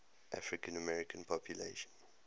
african american population